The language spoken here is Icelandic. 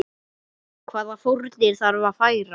Hvaða fórnir þarf að færa?